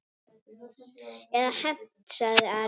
Eða hefnt, sagði Ari.